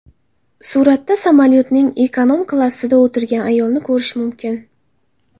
Suratda samolyotning ekonom-klassida o‘tirgan ayolni ko‘rish mumkin.